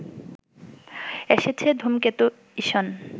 এসেছে ধূমকেতু ইসন